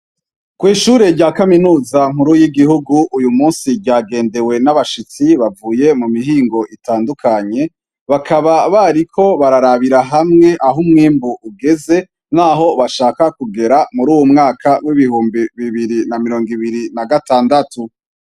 Kw'Ishure rya Kaminuza Nkuru y'Igihugu, uyumunsi ryagendewe n'Abashitsi, bavuye mumihingo itandukanye, bakaba bariko bararabira hamwe ah'umwimbu ugeze, naho bashaka kugera muruy'Umwaka w'ibihumbi bibiri na mirongo ibiri nagatandatu.